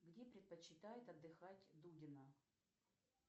где предпочитает отдыхать дудина